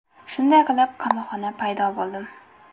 Shunday qilib qamoqxona paydo bo‘ldim.